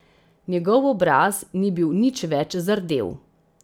Njegov obraz ni bil nič več zardel.